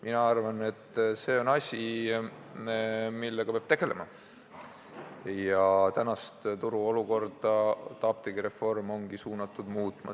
Mina arvan, et see on asi, millega peab tegelema, ja praegust turuolukorda apteegireform ongi suunatud muutma.